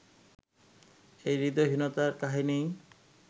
এই হূদয়হীনতার কাহিনিই